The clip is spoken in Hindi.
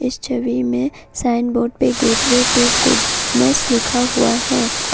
इस छवि में साइन बोर्ड पे गेटवे टू गुडनेस लिखा हुआ है।